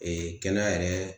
kɛnɛya yɛrɛ